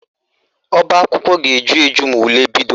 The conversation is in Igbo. Ọbaakwụkwọ ga-eju eju ma ule bido